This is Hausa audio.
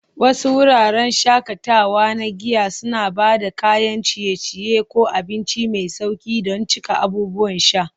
Wasu wuraren shakatawa na giya suna ba da kayan ciye-ciye ko abinci mai sauƙi don cika abubuwan sha.